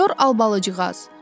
Sinyor Albalıcığaz.